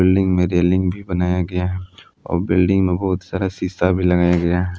Building में railing भी बनाया गया है और बिल्डिंग में बहुत सारा शीशा भी लगाया गया है।